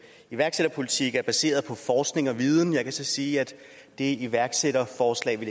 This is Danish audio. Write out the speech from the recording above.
iværksætterpolitik er baseret på forskning og viden jeg kan så sige at det iværksætterforslag vi